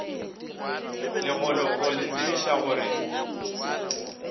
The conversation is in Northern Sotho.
legolo go le tsebiša gore